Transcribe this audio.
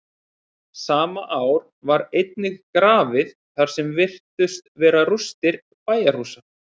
sama ár var einnig grafið þar sem virtust vera rústir bæjarhúsa